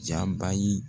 Jaba ye